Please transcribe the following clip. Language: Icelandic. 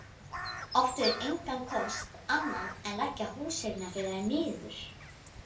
Áttu þeir engan kost annan en leggja húseignar- félagið niður.